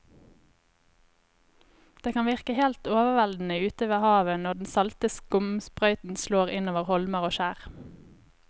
Det kan virke helt overveldende ute ved havet når den salte skumsprøyten slår innover holmer og skjær.